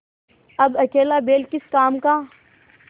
अब अकेला बैल किस काम का